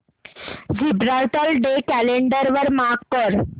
Gibraltar day calendar वर mark कर